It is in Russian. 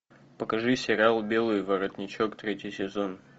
покажи сериал белый воротничок третий сезон